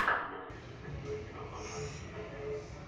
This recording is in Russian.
у тебя найдется красивая киноха в жанре супергероев